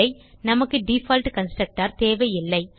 நமக்கு default constructor தேவையில்லை